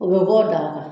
O bɛ bɔ o daa kan